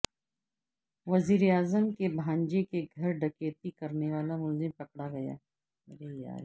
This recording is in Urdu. وزیراعظم کے بھانجے کے گھر ڈکیتی کرنیوالا ملزم پکڑا گیا